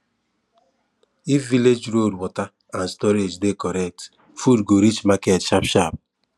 if village road water and storage dey correct food go reach market sharp sharp